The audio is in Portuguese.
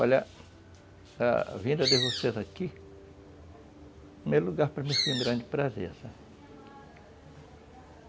Olha, a vinda de vocês aqui, primeiro lugar, para mim foi um grande prazer, sabe